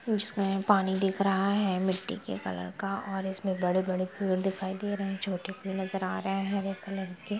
उसमे पानी दीख़ रहा है मिष्टी के कलर का और इसमें बड़े-बड़े पेड़ दिखाई दे रहे हैं छोटे पेड़ नजर आ रहे हैं हरे कलर के।